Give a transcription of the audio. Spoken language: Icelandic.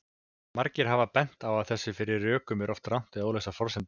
Margir hafa bent á að fyrir þessum rökum eru oft rangar eða óljósar forsendur.